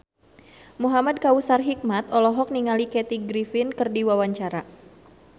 Muhamad Kautsar Hikmat olohok ningali Kathy Griffin keur diwawancara